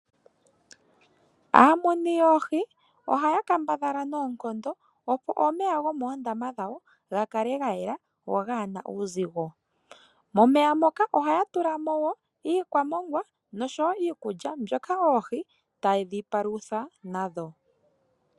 Aumini yoohi oha ya kambadhala noonkondo opo omeya gomoondama dhawo ga kale ga yela go gaana uuzigo. Momeya moka oha ya tula mo woo iikwamongwa nosho wo iikulya mbyoka oohi tadhi paluthwa nadho.